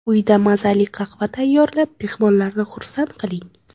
Uyda mazali qahva tayyorlab, mehmonlarni xursand qiling.